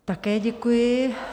Také děkuji.